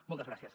moltes gràcies